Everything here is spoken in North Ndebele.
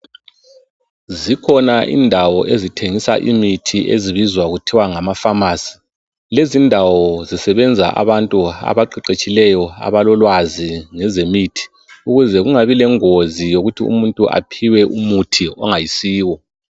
Zikhona indawo ezithengisa imithi ezibizwa kuthiwe ngamafamasi. Lezi indawo zisebenza abantu abaqeqetshileyo abalolwazi ngezemithi ukuze kungabi lengozi yokuthi umuntu aphiwe umuthi ongayisiwo.